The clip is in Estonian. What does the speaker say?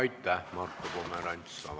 Aitäh, Marko Pomerants!